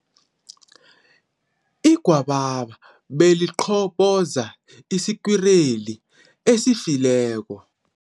Igwababa beliqhoboza isikwireli esifileko.